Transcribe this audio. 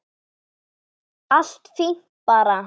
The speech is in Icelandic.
Allt fínt bara.